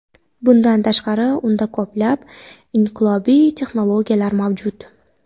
Bundan tashqari, unda ko‘plab inqilobiy texnologiyalar mavjud.